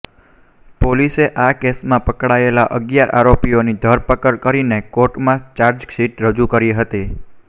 પોલીસે આ કેસમાં પકડાયેલા અગીયાર આરોપીઓની ધરપકડ કરીને કોર્ટમાં ચાર્જશીટ રજૂ કરી હતી